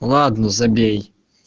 ладно забей